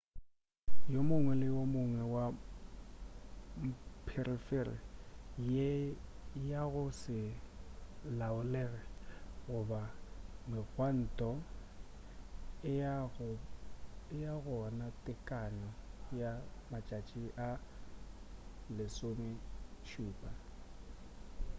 o mongwe le o mongwe wa mpherefere ye ya go se laolege goba megwanto e ba gona tekano ya matšatši a 17